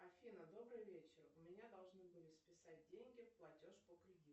афина добрый вечер у меня должны были списать деньги платеж по кредиту